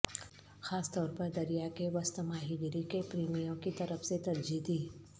خاص طور پر دریا کے وسط ماہی گیری کے پریمیوں کی طرف سے ترجیح دی